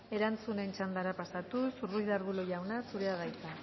erantzuten txandara pasatuz ruiz de arbulo jauna zurea da hitza